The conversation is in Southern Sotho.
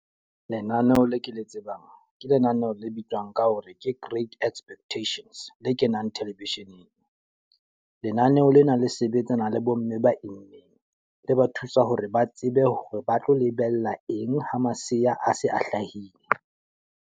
Lenaneo le ke le tsebang ke lenaneho le bitswang ka hore ke Grade Expectations, le kenang television-eng. Lenaneo lena le sebetsana le bo mme ba immeng. Le ba thusa hore ba tsebe hore ba tlo lebella eng ho maseya a se a hlahile.